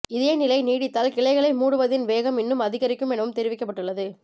இதே நிலை நீடித்தால் கிளைகளை மூடுவதின் வேகம் இன்னும் அதிகரிக்கும் எனவும் தெரிவிக்கப்பட்டுள்ளது